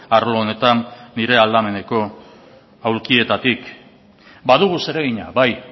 arlo honetan nire aldameneko aulkietatik badugu zeregina bai